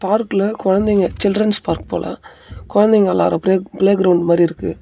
பார்க்கில குழந்தைங்க children's park போல குழந்தைங்க விளையாடுற ப்ளே ப்ளே கிரௌண்ட் மாறி இருக்கு.